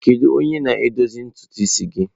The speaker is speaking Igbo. Kedu onye na-edozi ntutu isi gị?